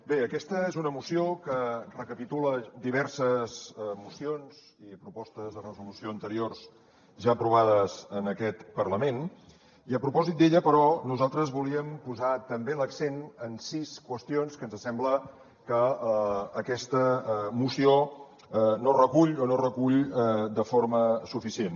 bé aquesta és una moció que recapitula diverses mocions i propostes de resolució anteriors ja aprovades en aquest parlament i a propòsit de la qual però nosaltres volíem posar també l’accent en sis qüestions que ens sembla que aquesta moció no recull o no recull de forma suficient